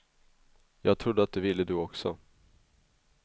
Jag trodde att du ville du också.